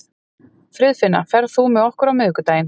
Friðfinna, ferð þú með okkur á miðvikudaginn?